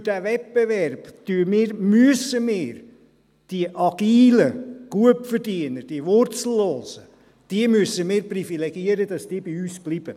– Durch diesen Wettbewerb müssen wir die agilen Gutverdiener, die Wurzellosen, privilegieren, damit sie bei uns bleiben.